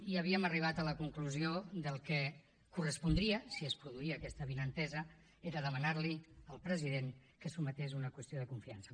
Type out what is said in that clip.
i havíem arribat a la conclusió que el que correspondria si es produïa aquesta avinentesa era demanar li al president que es sotmetés a una qüestió de confiança